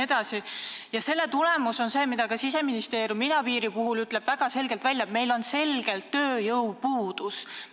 Kõige selle tagajärg on, nagu Siseministeerium ka idapiiri puhul selgelt välja ütleb: meil on selgelt tööjõu puudus.